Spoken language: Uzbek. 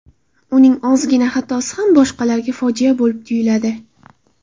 Uning ozgina xatosi ham boshqalarga fojia bo‘lib tuyuladi.